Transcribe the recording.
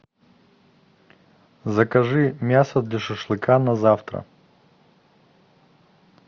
закажи мясо для шашлыка на завтра